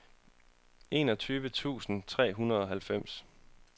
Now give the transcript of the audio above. enogtyve tusind og treoghalvfems